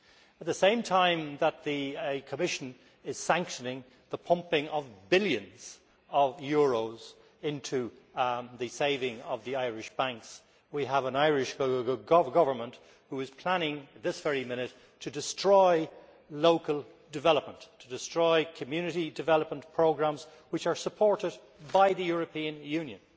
At the same time that the Commission is sanctioning the pumping of billions of euros into the saving of the Irish banks, we have an Irish Government which is planning this very minute to destroy local development, to destroy community development programmes which are supported by the European Union.